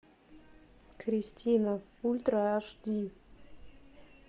кристина ультра аш ди